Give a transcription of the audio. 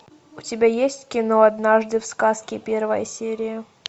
у тебя есть кино однажды в сказке первая серия